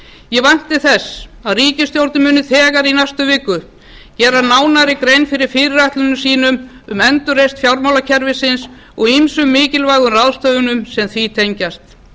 ég vænti þess að ríkisstjórnin muni þegar í næstu viku gera nánari grein fyrir fyrirætlunum sínum um endurreisn fjármálakerfisins og ýmsum mikilvægum ráðstöfunum sem því tengjast